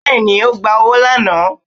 bẹẹni ogba ọwọ laná